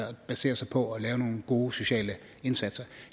baserer sig på at lave nogle gode sociale indsatser